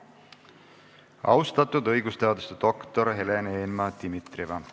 Austatud õigusteaduse doktor Helen Eenmaa-Dimitrieva!